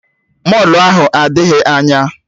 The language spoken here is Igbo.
Mọlụ ahụ adịghị anya